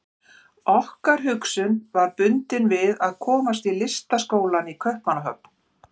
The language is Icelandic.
Okkar hugsun var bundin við að komast í Listaskólann í Kaupmannahöfn.